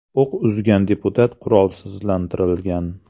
O‘q uzgan deputat qurolsizlantirilgan.